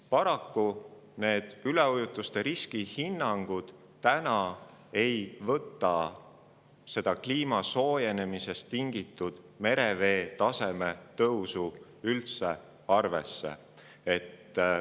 Paraku ei võta täna need üleujutuste riskihinnangud kliimasoojenemisest tingitud merevee taseme tõusu üldse arvesse.